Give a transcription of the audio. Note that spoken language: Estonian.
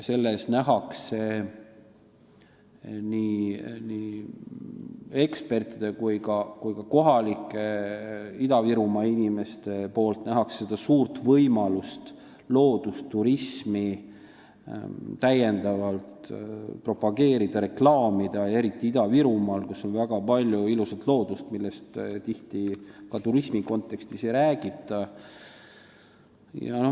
Selles näevad nii eksperdid kui ka kohalikud inimesed suurt võimalust loodusturismi täiendavalt propageerida ja reklaamida, eriti Ida-Virumaal, kus on väga palju ilusat loodust, millest tihti ka turismi kontekstis ei räägita.